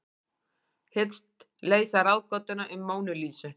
Hyggst leysa ráðgátuna um Mónu Lísu